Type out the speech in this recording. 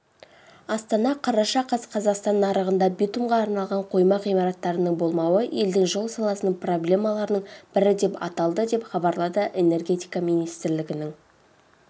астана қараша қаз қазақстан нарығында битумға арналған қойма ғимараттарының болмауы елдің жол саласының проблемаларының бірі деп аталды деп хабарлады энергетика министрлігінің